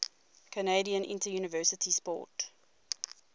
canadian interuniversity sport